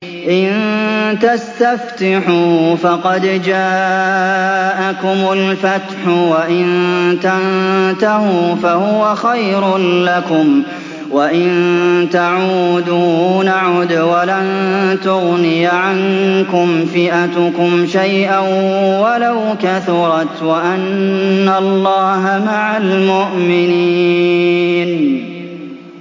إِن تَسْتَفْتِحُوا فَقَدْ جَاءَكُمُ الْفَتْحُ ۖ وَإِن تَنتَهُوا فَهُوَ خَيْرٌ لَّكُمْ ۖ وَإِن تَعُودُوا نَعُدْ وَلَن تُغْنِيَ عَنكُمْ فِئَتُكُمْ شَيْئًا وَلَوْ كَثُرَتْ وَأَنَّ اللَّهَ مَعَ الْمُؤْمِنِينَ